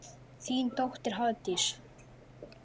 Þín dóttir, Hafdís.